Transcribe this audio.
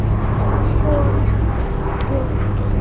Svona var Bjöggi.